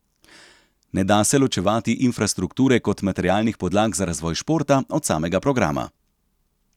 Ne da se ločevati infrastrukture kot materialnih podlag za razvoj športa od samega programa.